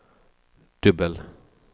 dubbel